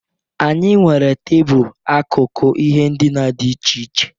Anyị nwere tebụl akụkụ ihe ndina dị iche.